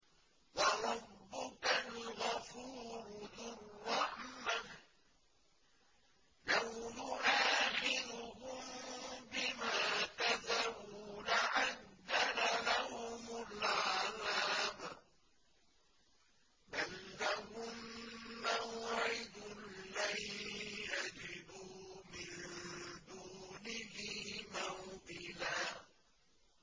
وَرَبُّكَ الْغَفُورُ ذُو الرَّحْمَةِ ۖ لَوْ يُؤَاخِذُهُم بِمَا كَسَبُوا لَعَجَّلَ لَهُمُ الْعَذَابَ ۚ بَل لَّهُم مَّوْعِدٌ لَّن يَجِدُوا مِن دُونِهِ مَوْئِلًا